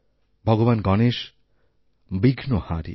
ভগবান গণেশ বিঘ্নহারী